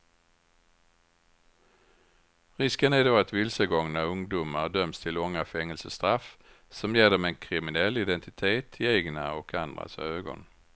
Risken är då att vilsegångna ungdomar döms till långa fängelsestraff som ger dem en kriminell identitet i egna och andras ögon.